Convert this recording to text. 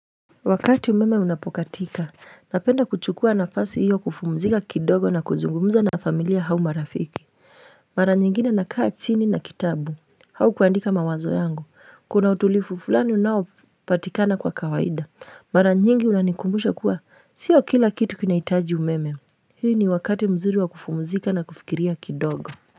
Wakati umeme unapokatika, napenda kuchukua nafasi hiyo kupumzika kidogo na kuzungumza na familia au marafiki. Mara nyingine nakaa chini na kitabu au kuandika mawazo yangu, kuna utulivu fulani unaopatikana kwa kawaida. Mara nyingi unanikumbusha kuwa, sio kila kitu kinahitaji umeme. Hii ni wakati mzuri wa kupumzika na kufikiria kidogo.